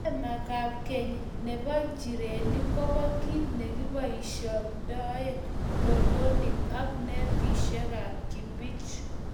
Remakab keny nebo nchirenik kobo kiit neboisyindoi lolonik, ak netisiekab kibich.